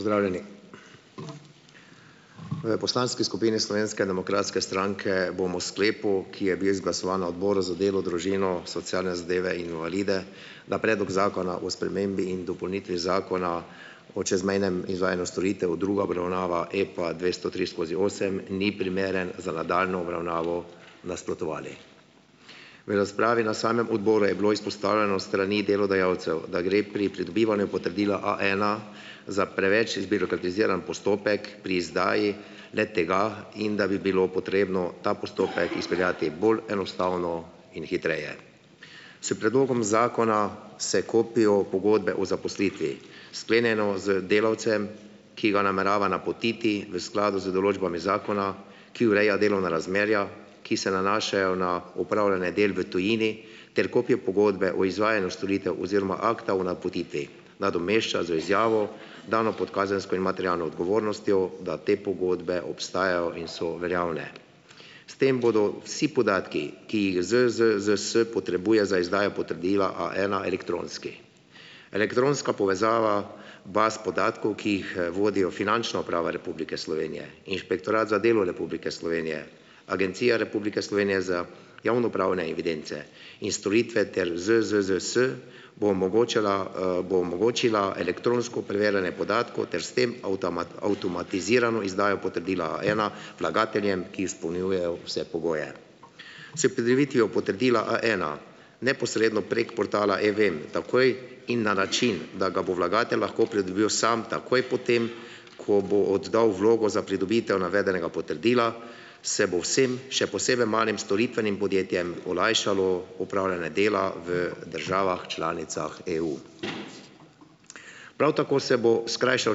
Pozdravljeni! V poslanski skupini Slovenske demokratske stranke bomo o sklepu, ki je bil izglasovan na Odboru za delo, družino, socialne zadeve in invalide, na predlog Zakona o spremembi in dopolnitvi Zakona o čezmejnem izvajanju storitev druga obravnava EPA dvesto tri skozi osem ni primeren za nadaljnjo obravnavo, nasprotovali. V razpravi na samem odboru je bilo izpostavljeno s strani delodajalcev, da gre pri pridobivanju potrdila A ena za preveč zbirokratiziran postopek pri izdaji le-tega in da bi bilo potrebno ta postopek izpeljati bolj enostavno in hitreje. S predlogom zakona se kopijo pogodbe o zaposlitvi, sklenjeno z delavcem, ki ga namerava napotiti v skladu z določbami zakona, ki ureja delovna razmerja, ki se nanašajo na opravljanje del v tujini, ter kopijo pogodbe o izvajanju storitev oziroma akta o napotitvi nadomešča z izjavo, dano pot kazensko in materialno odgovornostjo, da te pogodbe obstajajo in so veljavne. S tem bodo vsi podatki, ki jih ZZZS potrebuje za izdajo potrdila A ena, elektronski. Elektronska povezava baz podatkov, ki jih, vodijo Finančna uprava Republike Slovenije, Inšpektorat za delo Republike Slovenije, Agencija Republike Slovenije za javnopravne evidence in storitve ter ZZZS, bo omogočila, bo omogočila elektronsko preverjanje podatkov ter s tem avtomatizirano izdajo potrdila A ena vlagateljem, ki izpolnjujejo vse pogoje. S pridobitvijo potrdila A ena neposredno prek portala e-VEM takoj in na način, da ga bo vlagatelj lahko pridobil sam, takoj potem, ko bo oddal vlogo za pridobitev navedenega potrdila, se bo vsem, še posebej malim storitvenim podjetjem, olajšalo opravljanje dela v državah članicah EU. Prav tako se bo skrajšal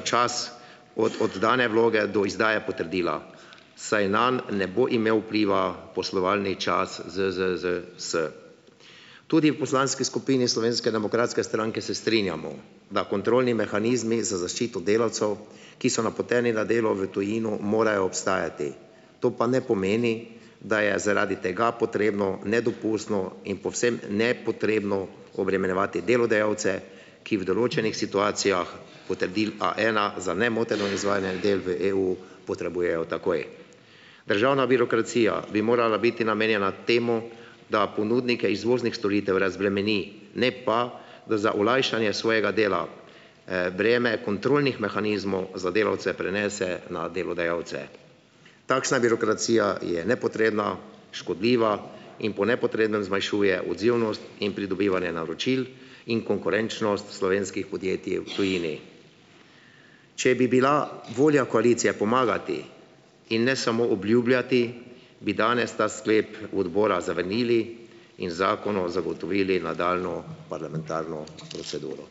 čas od oddane vloge do izdaje potrdila, saj nanj ne bo imel vpliva poslovalni čas ZZZS. Tudi v poslanski skupini Slovenske demokratske stranke se strinjamo, da kontrolni mehanizmi za zaščito delavcev, ki so napoteni na delo v tujino, morajo obstajati, to pa ne pomeni, da je zaradi tega potrebno nedopustno in povsem nepotrebno obremenjevati delodajalce, ki v določenih situacijah potrdilo A ena za nemoteno izvajanje del v EU potrebujejo takoj. Državna birokracija bi morala biti namenjena temu, da ponudnike izvoznih storitev razbremeni, ne pa, da za olajšanje svojega dela, breme kontrolnih mehanizmov za delavce prenese na delodajalce. Takšna birokracija je nepotrebna, škodljiva in po nepotrebnem zmanjšuje odzivnost in pridobivanje naročil in konkurenčnost slovenskih podjetij v tujini. Če bi bila volja koalicije pomagati, in ne samo obljubljati, bi danes ta sklep odbora zavrnili in zakonu zagotovili nadaljnjo parlamentarno proceduro.